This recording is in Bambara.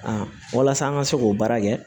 walasa an ka se k'o baara kɛ